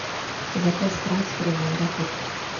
заказ трансфера в аэропорт